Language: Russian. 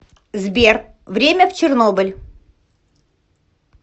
сбер время в чернобыль